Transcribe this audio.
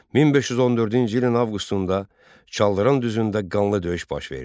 1514-cü ilin avqustunda Çaldıran düzündə qanlı döyüş baş verdi.